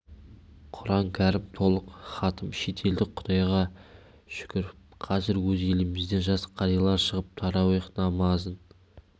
құран кәрім толық хатым етіледі құдайға шүкір қазір өз елімізден жас қарилар шығып тарауих намазын